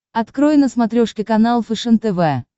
открой на смотрешке канал фэшен тв